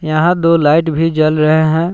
यहां दो लाइट भी जल रहे हैं।